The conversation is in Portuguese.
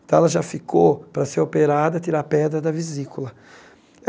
Então, ela já ficou para ser operada, tirar a pedra da vesícula.